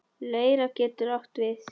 Leira getur átt við